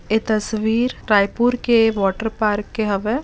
ए तस्वीर रायपुर के water park के हवे ।